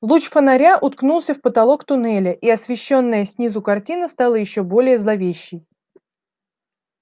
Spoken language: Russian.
луч фонаря уткнулся в потолок туннеля и освещённая снизу картина стала ещё более зловещей